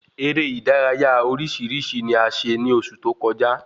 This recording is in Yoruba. Eré ìdárayá orísirísi ni a ṣe ni oṣù tó kọjá